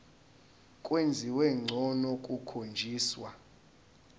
kwenziwa ngcono kukhonjiswa